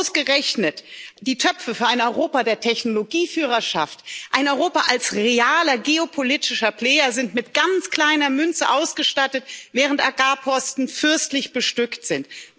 Ausgerechnet die Töpfe für ein Europa der Technologieführerschaft, ein Europa als realer geopolitischer Player sind mit ganz kleiner Münze ausgestattet, während Agrarposten fürstlich bestückt sind.